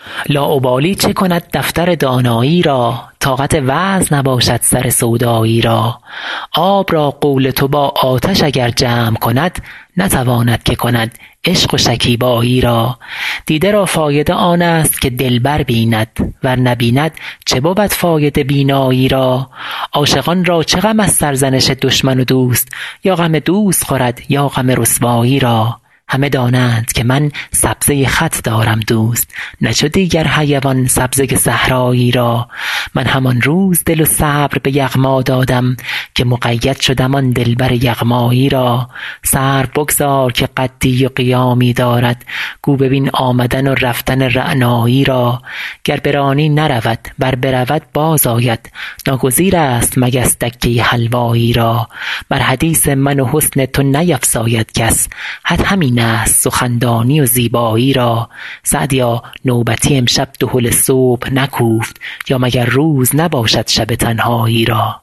لاابالی چه کند دفتر دانایی را طاقت وعظ نباشد سر سودایی را آب را قول تو با آتش اگر جمع کند نتواند که کند عشق و شکیبایی را دیده را فایده آن است که دلبر بیند ور نبیند چه بود فایده بینایی را عاشقان را چه غم از سرزنش دشمن و دوست یا غم دوست خورد یا غم رسوایی را همه دانند که من سبزه خط دارم دوست نه چو دیگر حیوان سبزه صحرایی را من همان روز دل و صبر به یغما دادم که مقید شدم آن دلبر یغمایی را سرو بگذار که قدی و قیامی دارد گو ببین آمدن و رفتن رعنایی را گر برانی نرود ور برود باز آید ناگزیر است مگس دکه حلوایی را بر حدیث من و حسن تو نیفزاید کس حد همین است سخندانی و زیبایی را سعدیا نوبتی امشب دهل صبح نکوفت یا مگر روز نباشد شب تنهایی را